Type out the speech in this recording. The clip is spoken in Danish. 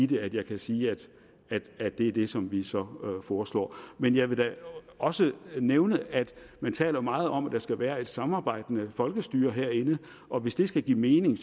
det at jeg kan sige at det er det som vi så foreslår men jeg vil da også nævne at man taler meget om at der skal være et samarbejdende folkestyre herinde og hvis det skal give mening